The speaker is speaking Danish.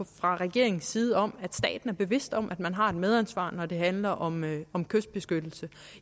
fra regeringens side om at staten er bevidst om at man har et medansvar når det handler om om kystbeskyttelse